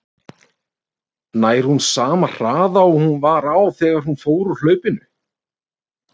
Nær hún sama hraða og hún var á þegar hún fór úr hlaupinu?